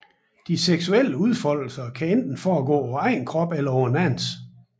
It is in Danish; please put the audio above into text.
De seksuelle udfoldelser kan enten foregå på egen krop eller en andens